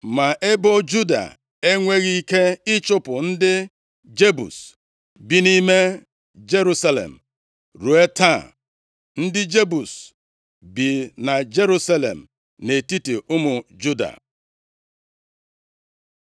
Ma ebo Juda enweghị ike ịchụpụ ndị Jebus bi nʼime Jerusalem; ruo taa ndị Jebus bi na Jerusalem, nʼetiti ụmụ Juda.